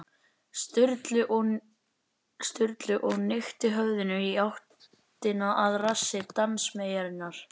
Sturlu og hnykkti höfðinu í áttina að rassi dansmeyjarinnar.